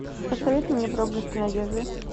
посоветуй мне проблески надежды